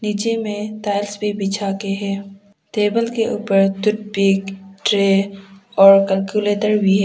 नीचे में टाइल्स भी बिछा के है। टेबल के ऊपर टूथ पिक ट्रे और कैलकुलेटर भी है।